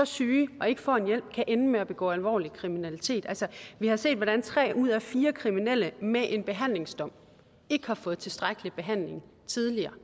syge og ikke får hjælp kan ende med at begå alvorlig kriminalitet altså vi har set hvordan tre ud af fire kriminelle med en behandlingsdom ikke har fået tilstrækkelig behandling tidligere